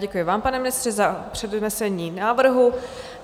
Děkuji vám, pane ministře, za přednesení návrhu.